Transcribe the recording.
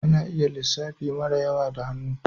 Ana iya lissafi mara yawa da hannu